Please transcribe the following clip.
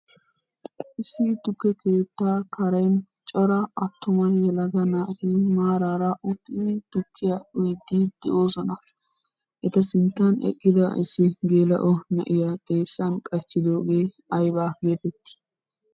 Issi tukke keettaa karen cora attuma yelaga naati maaraara uttidi tukkiya uyiiddi de'oosona. Eta sinttan eqqida issi geela"o na"iyaa xeessan qachchidoogee ayba geetettii?